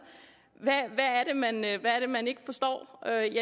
hvad er det man ikke forstår jeg er